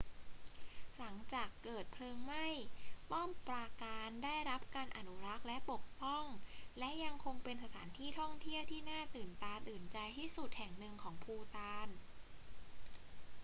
หลังจากเกิดเพลิงไหม้ ป้อมปราการได้รับการอนุรักษ์และปกป้อง และยังคงเป็นสถานที่ท่องเที่ยวที่น่าตื่นตาตื่นใจที่สุดแห่งหนึ่งของภูฏาน